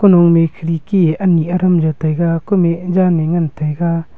nome kherki anyi adam jao taga kume jali ngan taga.